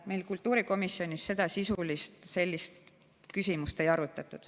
Meil kultuurikomisjonis sellist küsimust ei arutatud.